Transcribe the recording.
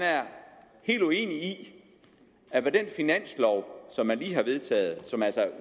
helt uenig i at med den finanslov som man lige har vedtaget og som altså